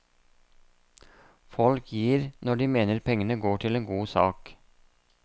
Folk gir når de mener pengene går til en god sak.